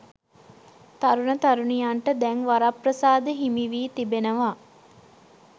තරුණ තරුණියන්ට දැන් වරප්‍රසාද හිමිවී තිබෙනවා.